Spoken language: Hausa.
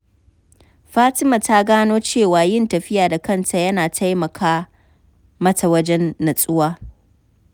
Fatima ta gano cewa yin tafiya da kanta yana taimaka mata wajen nutsuwa.